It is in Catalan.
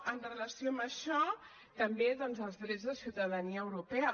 en relació amb això també doncs els drets de ciutadania europea